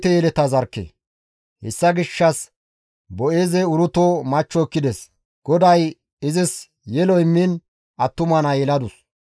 Hessa gishshas Boo7eezey Uruto machcho ekkides; GODAY izis yelo immiin attuma naa yeladus.